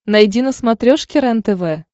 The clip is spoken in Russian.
найди на смотрешке рентв